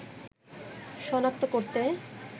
সনাক্ত করতে